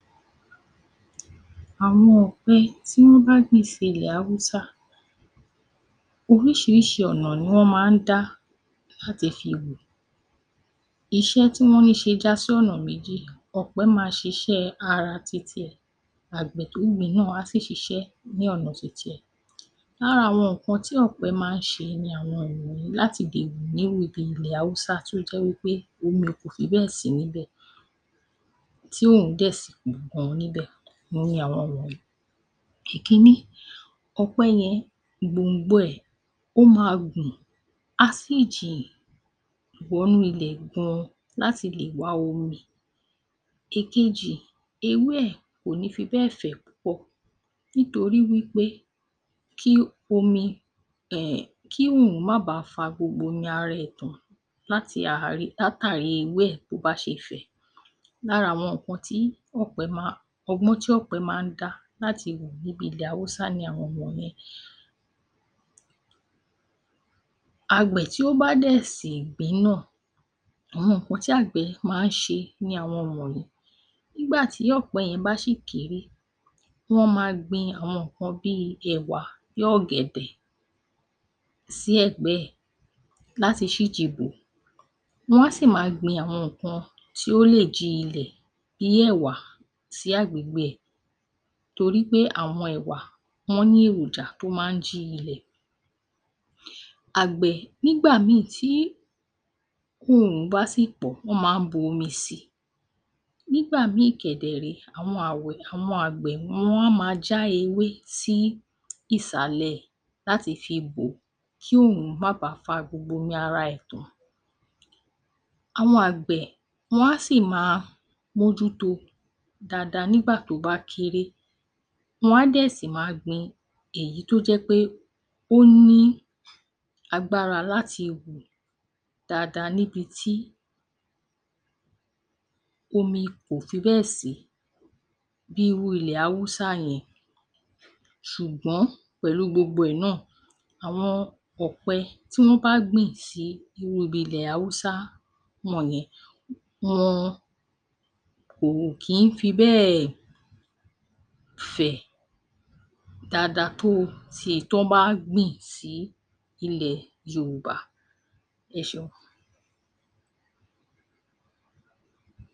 Àwọn ọ̀pẹ tí wọ́n bá gbìn sí ilẹ̀ Haúsá, oríṣiríṣi ọ̀nà ni wọ́n máa ń dá láti fi hù. Iṣẹ́ tí wọ́n ń ṣe ń já sí ọ̀nà meji, ọ̀pẹ á ṣiṣẹ́ ara ti tiẹ̀, àgbè tó gbìn ín náà á sì ṣiṣẹ́ ní ọ̀nà ti tiẹ̀. Lára àwọn nǹkan tí ọ̀pẹ máa ń ṣe ni àwọn wọ̀nyí láti lè gbìn ín ní ilẹ̀ Haúsá tí ó jẹ́ wí pé omi kò fi bẹ́ẹ̀ sí ní ibẹ̀ tí oòrùn dẹ̀ sì mú gan ni ibẹ̀ òhun ni àwọn wọ̀nyí: Ìkínní, ọ̀pẹ yẹn gbòǹgbò rẹ̀, o máa gùn á sì jìn wọ inú ilẹ̀ gan láti lè wá omi. Èkejì, ewé ẹ̀ kò ní fi bẹ́ẹ̀ fẹ̀ púpọ̀ nítorí wí pé kí omi ẹ̀ kí oòrùn má baà fa gbogbo omi ara ẹ̀ tán látàrí ewé ẹ̀ bí ó bá ṣe fẹ̀. Lára àwọn ohun tí ọgbọ́n tí ọ̀pẹ máa ń dá láti hù bíi ti ilẹ̀ Haúsá ni àwọn wọ̀nwọ̀n yẹn. Àgbẹ̀ tí ó bá dẹ̀ sì gbìn ín náà, àwọn nǹkan tí àgbẹ̀ máa ń ṣe ni àwọn wọ̀nyí: nígbà tí ọ̀pẹ yẹn bá sì kéré, wọ́n máa gbin àwọn nǹkan bíi ẹ̀wà, bí ọ̀gẹ̀dẹ̀ sí ẹ̀gbẹ́ ẹ̀ láti ṣíji bò ó, wọ́n á sì máa gbin àwọn nǹkan tí ó lè jí ilẹ̀ bíi ẹ̀wà sí agbègbè rẹ̀ torí pé àwọn ẹ̀wà wọ́n ní èròjà tí ó máa jí ilẹ̀. Àgbẹ̀ nígbà mínìn tí oòrùn bá sì pọ̀, wọ́n máa bu omi sí í, nígbà mínìn kẹ̀dẹ̀ rèé, àwọn àgbẹ̀ wọ́n máa já ewé sí ìsàlẹ̀ ẹ̀ láti fi bò ó kí oòrùn má baà lè fa omi ara rẹ̀ tán. Àwọn àgbẹ̀ wọ́n á sì máa mójú tó o dáadáa nígbà tí ó bá kéré wọ́n á dẹ̀ sì máa gbin èyí tí ó jẹ́ pé ó ní agbára láti hù dáadáa níbi tí omi kò fi bẹ́ẹ̀ sí bíi irú ilẹ̀ Haúsá yẹn. Ṣùgbọ́n pẹ̀lú gbogbo ẹ̀ náà àwọn ọ̀pẹ tí wọ́n bá gbìn sí irú ibi ilẹ̀ Haúsá wọ̀nyẹn wọn ò kí n fi bẹ́ẹ̀ fẹ̀ dáadáa tó èyí tí èyí tí wọ́n bá gbìn sí ilẹ̀ Yorùbá. Ẹ ṣeun.